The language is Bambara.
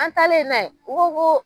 An talen n'a ye, u ko koo